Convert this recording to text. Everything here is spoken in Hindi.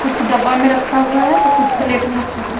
कुछ डब्बा में रक्खा हुआ है तो कुछ प्लेट में रक्खा हुआ।